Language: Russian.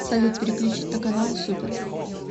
салют переключить на каналы супер